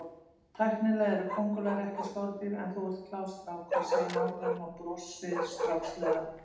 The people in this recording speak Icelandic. Tæknilega eru kóngulær ekki skordýr en þú ert klár strákur, segir nágranninn og brosir strákslega.